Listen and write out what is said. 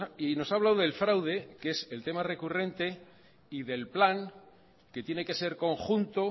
y nos ha hablado del fraude que es el tema recurrente y del plan que tiene que ser conjunto